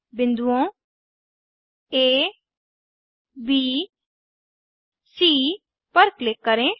बिन्दुओंA B C पर click करें